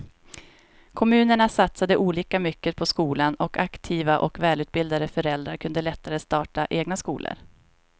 Kommunerna satsade olika mycket på skolan och aktiva och välutbildade föräldrar kunde lättare starta egna skolor.